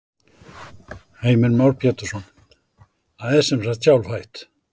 Heimir Már Pétursson: Það er sem sagt sjálfhætt?